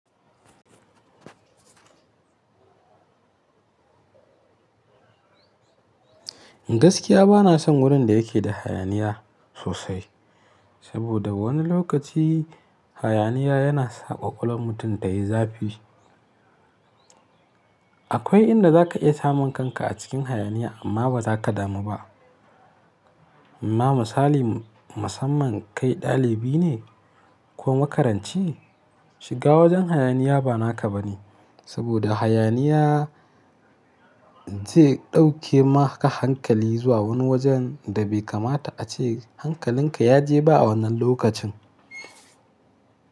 Gaskiya bana son wurin da yake da hayaniya sosai, saboda wani lokaci hayaniya yana sa ƙwaƙwalwa mutum ta yi zafi. Akwai inda za ka iya samun kanka a cikin hayaniya amma ba za ka damu ba. Ma misali, musamman kai ɗalibi ne ko makaranci, shiga wajen hayaniya ba naka ba ne. Saboda hayaniya zai ɗauke ma ka hankali zuwa wani wajen da bai kamata a ce hankalinka ya je ba a wannan lokacin.